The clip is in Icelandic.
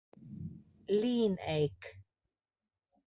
Líneik